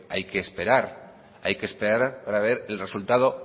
hay que esperar para ver el resultado